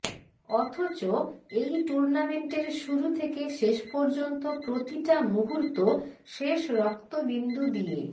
অথচ এই টুর্নামেন্টের শুরু থেকে শেষ পর্যন্ত প্রতিটা মুহূর্ত শেষ রক্তবিন্দু দিয়ে